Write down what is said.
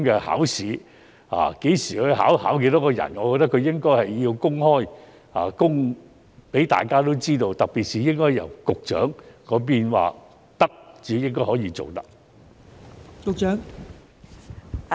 考試何時舉行、設多少個席位，均應該公開，讓大家知道，特別是應該經局長同意才可以這樣處理。